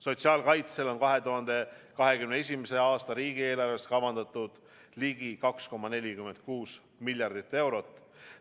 Sotsiaalkaitsele on 2021. aasta riigieelarves kavandatud ligi 2,46 miljardit eurot.